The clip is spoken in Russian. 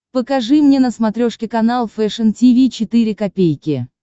покажи мне на смотрешке канал фэшн ти ви четыре ка